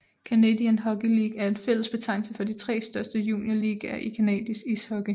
Canadian Hockey League er en fælles betegnelse for de tre største juniorligaer i canadisk ishockey